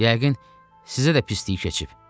Yəqin sizə də pislik keçib.